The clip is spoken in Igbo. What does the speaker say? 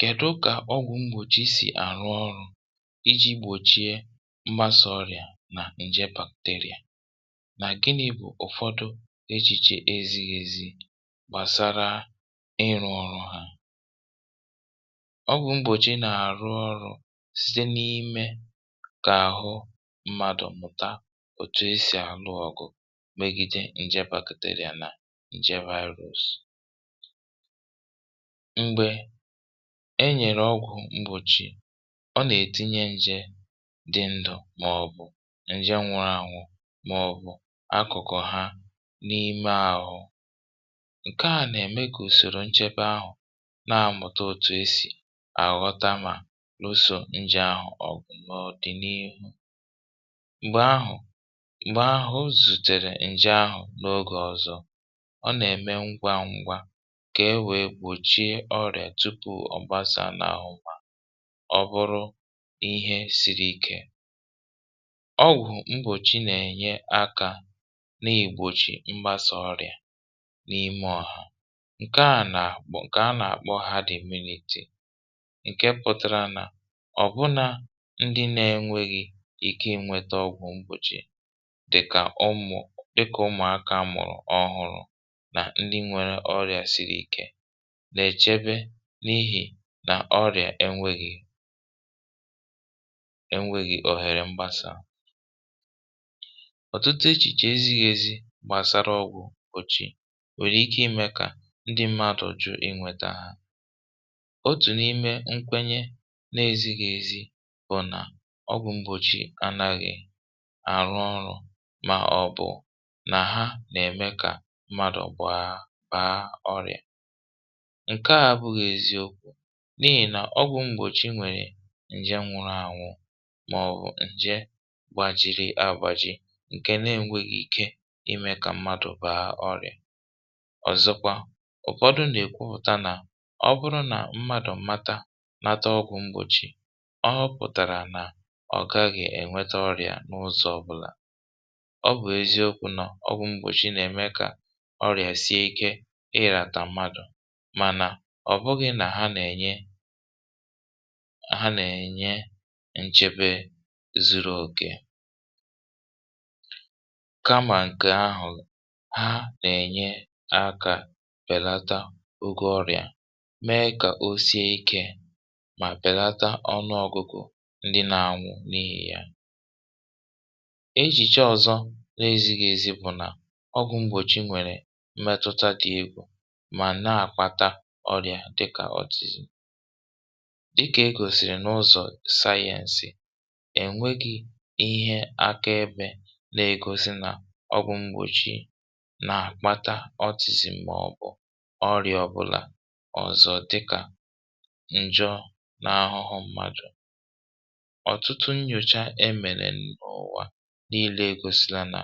kèdu kà ọgwụ̀ mgbòchi sì àrụ ọrụ̇ iji̇ gbòchie mgbasa ọrịà nà nje bacteria nà gịnị̇ bụ̀ ụ̀fọdụ echìche ezighi̇ ezighi̇ gbàsara ịrụ̇ ọrụ hȧ ọgwụ̀ mgbòchi nà-àrụ ọrụ̇ site n’imė kà àhụ mmadụ̀ mụ̀ta òtù esì àlụọ̇ ọ̀gụ̀ megide nje bacteria nà mgbe e nyèrè ọgwụ̀ mgbòchì ọ nà-ètinye nje dị ndụ̇ màọ̀bụ̀ nje nwụrụ àhụ màọ̀bụ̀ akụ̀kụ̀ ha n’ime àhụ ǹkè a nà-ème gà ùsòrò nchebe ahụ̀ na-àmụta òtù esì àghọta mà ụsọ̇ nje àhụ m̀ ọ̀dịniihu um m̀gbè ahụ̀ zùtèrè nje ahụ̀ n’ogè ọzọ̇ kà e wèe gbòchie ọrịà tupu ọ̀ gbasà n’àụmà ọ bụrụ ihe siri ikė ọgwụ̀ mgbòchi nà-ènye akȧ na-ìgbòchì mgbasà ọrịà n’ime ọhà ǹke à nà àgbụ̀ ǹkè a nà-àkpọ ha dị̀miniti ǹke pụtara nà ọ̀ bụna ndị na-enweghị ike inwėta ọgwụ̀ mgbòchi dị̀kà ụmụ̀ dịkà ụmụ̀akȧ mụ̀rụ̀ ọhụrụ̇ nà-èchebe n’ihì nà ọrị̀à enwėghi̇ òhèrè mgbasara ọ̀tụtụ echìche ezighėzi̇ gbàsara ọgwụ̇ kpọ̀chì nwèrè ike imė kà ndi mmadụ̀ ju̇ inwėtȧ ha otù n’ime nkwenye na-ezighi̇ ezi bụ̀ nà ọbụ̇ mgbòchi anaghị̇ àrụ ọrụ̇ mà ọbụ̀ nà ha nà-ème kà mmadụ̀ ǹke à bụghị̇ eziokwu̇ n’ihì nà ọ bụ̀ mgbòchi nwèrè nje nwuru ànwụ màọ̀bụ̀ nje gbàjiri abụ̇jị ǹke na-enwėghi ike imė kà mmadụ̀ bàa ọrị̀à ọ̀zọkwa ụ̀fọdụ nà-èkwu pụ̀ta nà ọ bụrụ nà mmadụ̀ mmata mata ọgwụ̇ mgbòchi ọ hụ pụ̀tàrà nà ọ gaghị̇ ènwete ọrị̀à n’ụzọ̇ ọbụ̇là ọ bụ̀ eziokwu̇ nọ̀ ọgwụ̇ mgbòchi nà-ème kà mànà ọ̀ bụghị̇ nà ha nà-ènye nchebe zuru ogè kamà ǹkè ahụ̀ ha nà-ènye akȧ bèlata ogė ọrị̀à mee kà o sie ikė mà bèlata ọnụ ọgụ̇gụ̇ ndị nȧ-ànwu n’ihì yà ejìche ọ̇zọ̇ na-eziga ezi bụ̀ nà ọgwụ̀ mgbòchi nwèrè metụta dị egwu ọrịà dịkà autism dịkà e gòsìrì n’ụzọ̀ science è nweghị̇ ihe evidence na-egosi n’ ọgwụ̀ mgbòchi na-akpata autism màọ̀bụ̀ ọrịà ọbụlà ọ̀zọ dịkà ǹjọ n’ahụhụ mmadù ọ̀tụtụ nnyòcha emèrè n’ụ̀wà niile e gòsìla nà